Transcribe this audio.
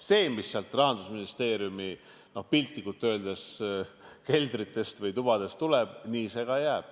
See, mis Rahandusministeeriumi, piltlikult öeldes, keldritest või tubadest tuleb, see nii ka jääb.